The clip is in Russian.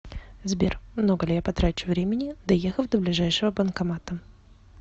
сбер много ли я потрачу времени доехав до ближайшего банкомата